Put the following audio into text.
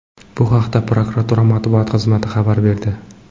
Bu haqda prokuratura matbuot xizmati xabar berdi .